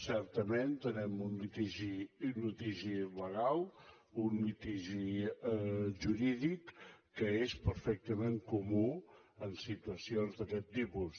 certament tenim un litigi legal un litigi jurídic que és perfectament comú en situacions d’aquest tipus